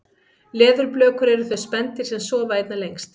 leðurblökur eru þau spendýr sem sofa einna lengst